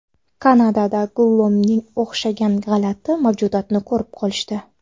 Kanadada Gollumga o‘xshagan g‘alati mavjudotni ko‘rib qolishdi .